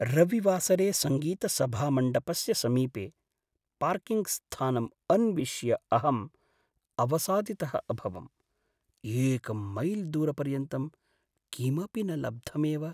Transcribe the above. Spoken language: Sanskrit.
रविवासरे सङ्गीतसभामण्डपस्य समीपे पार्किङ्ग्स्थानम् अन्विष्य अहम् अवसादितः अभवम्, एकं मैल् दूरपर्यन्तं किमपि न लब्धमेव।